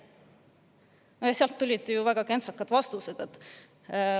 Ministeeriumidest tulid väga kentsakad vastused.